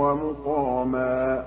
وَمُقَامًا